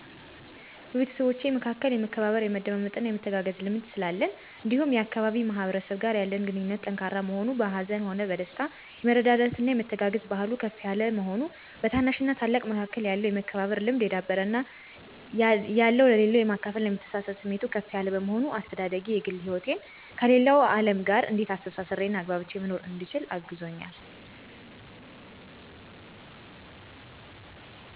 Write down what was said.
በቤተሰቦቼ መካከል የመከባበር፣ የመደማመጥና የመተጋገዝ ልምድ ስላለን እንዲሁም የአካባቢው ማህበረሰብ ጋር ያለን ግንኙነት ጠንካራ መሆን፤ በሀዘንም ሆነ በደስታ የመረዳዳትና የመተጋገዝ ባህሉ ከፍ የለ መሆኑ፤ በታናሽና ታላቅ መካከል ያለው የመከባበር ልምድ የዳበረ እና ያለው ለሌለው የማካፈልና የመተሳሰብብ ስሜቱ ከፍ ያለ በመሆኑ፤ አስተዳደጌ የግል ህይወቴን ከሌለው አለም ጋር እንዴት አስተሳስሬና ተግባብቼ መኖር እንድችል አግዞኛል